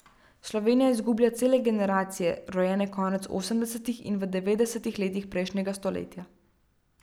Slovenija izgublja cele generacije, rojene konec osemdesetih in v devetdesetih letih prejšnjega stoletja.